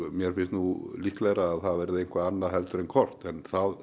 mér finnst nú líklegra að það verði eitthvað annað heldur en kort en það